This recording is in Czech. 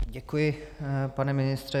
Děkuji, pane ministře.